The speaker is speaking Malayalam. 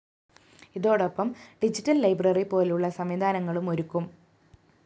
ഇതോടൊപ്പം ഡിജിറ്റൽ ലൈബ്രറി പോലുളള സംവിധാനങ്ങളും ഒരുക്കും